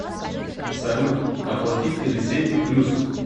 салют оплатить телесети плюс